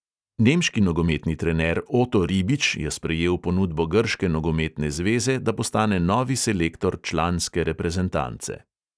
Nemški nogometni trener oto ribič je sprejel ponudbo grške nogometne zveze, da postane novi selektor članske reprezentance.